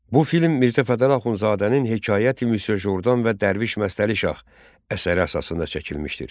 Bu film Mirzə Fətəli Axundzadənin “Hekayəti Misye Jordan və Dərviş Məstəli Şah” əsəri əsasında çəkilmişdir.